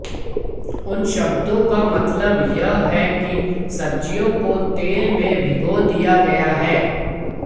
उन शब्दों का मतलब यह है कि सब्जियों को तेल में भिगो दिया गया है